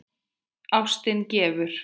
Ástin gefur.